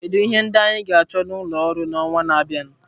Kedu ihe ndị anyị ga-achọ n'ulọ oru n'ọnwa na-abịa?